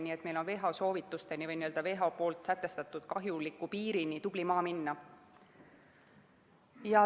Nii et meil on WHO sätestatud piirini tubli maa minna.